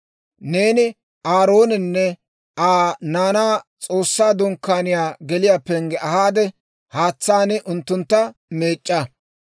«Neeni Aaroonanne Aa naanaa S'oossaa Dunkkaaniyaa geliyaa pengge ahaade, haatsaan unttuntta meec'c'a.